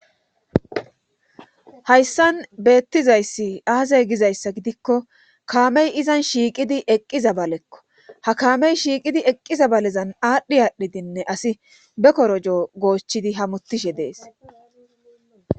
Hayssan beettizayssi aazay gizayssa gidikko kaamey izan shiiqidi eqqizabalekko ha kaamey shiiqidi eqqizabalezan aadhdhi aadhdhidinne asi bekorojo goochidi hamuttishe dees